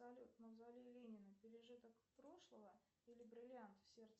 салют мавзолей ленина пережиток прошлого или бриллиант в сердце